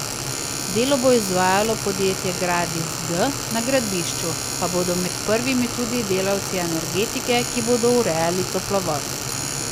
Delo bo izvajalo podjetje Gradis G, na gradbišču pa bodo med prvimi tudi delavci Energetike, ki bodo urejali toplovod.